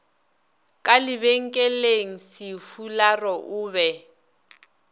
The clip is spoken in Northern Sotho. ka lebenkeleng sefularo o be